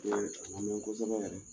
O ye a min kosɛbɛ yɛrɛ.